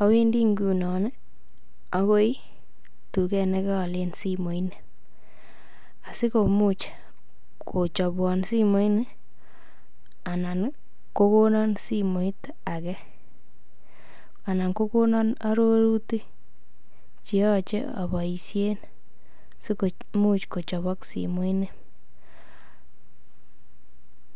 awendi ngunon agoi tuget ne koalen simoini asikomuch kochobwon simoini anan kogonon simoit age anan kogonon arorutik che yoche aboisien si komuch kochoboksimoini.